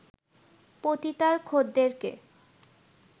পতিতার খদ্দেরকে